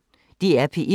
DR P1